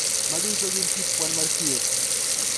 Magi duto gin kit kwan mar thieth.